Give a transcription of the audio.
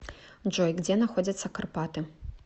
джой где находятся карпаты